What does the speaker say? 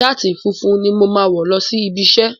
Ṣáàtì funfun ni mo máa wọ̀ lọ sí ibi iṣẹ́.